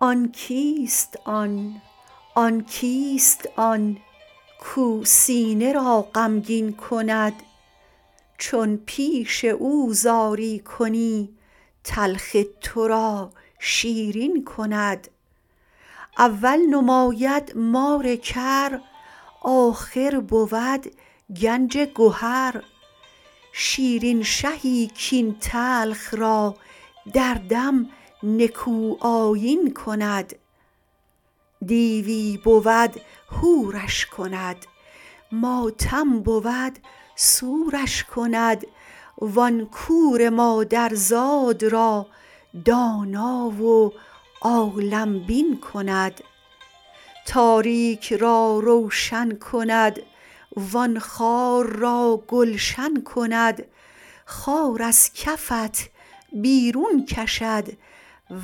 آن کیست آن آن کیست آن کاو سینه را غمگین کند چون پیش او زاری کنی تلخ تو را شیرین کند اول نماید مار کر آخر بود گنج گهر شیرین شهی کاین تلخ را در دم نکوآیین کند دیوی بود حورش کند ماتم بود سورش کند وان کور مادرزاد را دانا و عالم بین کند تاریک را روشن کند وان خار را گلشن کند خار از کفت بیرون کشد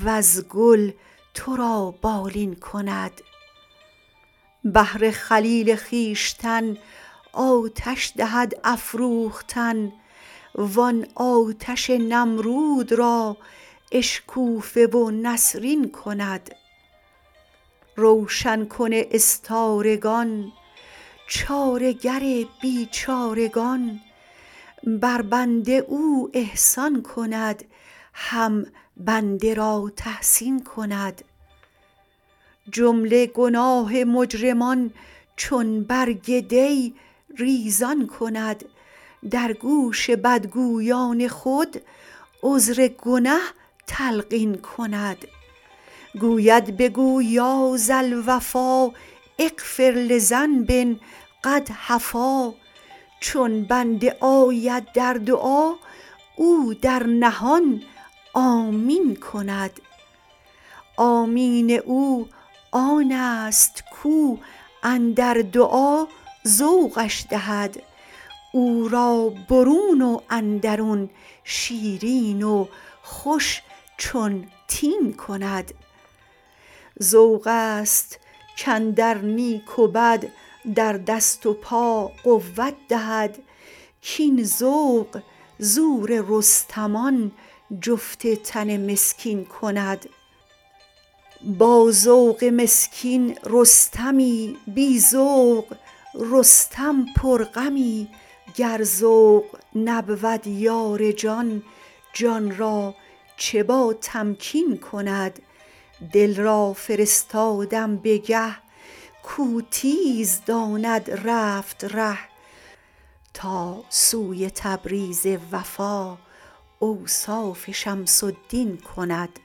وز گل تو را بالین کند بهر خلیل خویشتن آتش دهد افروختن وان آتش نمرود را اشکوفه و نسرین کند روشن کن استارگان چاره گر بیچارگان بر بنده او احسان کند هم بند را تحسین کند جمله گناه مجرمان چون برگ دی ریزان کند در گوش بدگویان خود عذر گنه تلقین کند گوید بگو یا ذا الوفا اغفر لذنب قد هفا چون بنده آید در دعا او در نهان آمین کند آمین او آنست کاو اندر دعا ذوقش دهد او را برون و اندرون شیرین و خوش چون تین کند ذوق ست کاندر نیک و بد در دست و پا قوت دهد کاین ذوق زور رستمان جفت تن مسکین کند با ذوق مسکین رستمی بی ذوق رستم پرغمی گر ذوق نبود یار جان جان را چه باتمکین کند دل را فرستادم به گه کاو تیز داند رفت ره تا سوی تبریز وفا اوصاف شمس الدین کند